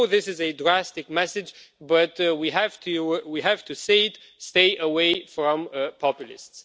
I know this is a drastic message but we have to say it stay away from populists.